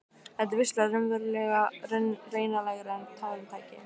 Þetta var vissulega raunalegra en tárum tæki.